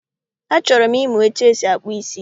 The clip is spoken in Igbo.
Achọrọ m ịmụ etu esi akpụ ísí